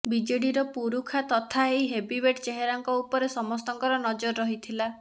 ବିଜେଡିର ପୁରୁଖା ତଥା ଏହି ହେଭିୱେଟ ଚେହେରାଙ୍କ ଉପରେ ସମସ୍ତଙ୍କର ନଜର ରହିଥିଲା